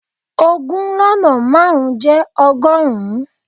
Ogún lọ́nà márùn-ún jẹ́ ọgọ́rùn-ún.